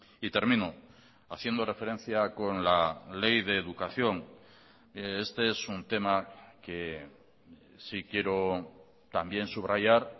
y termino haciendo referencia con la ley de educación este es un tema que sí quiero también subrayar